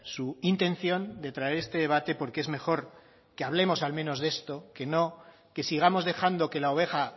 su intención de traer este debate porque es mejor que hablemos al menos de esto que no que sigamos dejando que la oveja